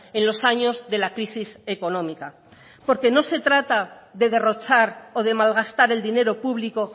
en los años de la crisis económica porque no se trata de derrochar o de malgastar el dinero público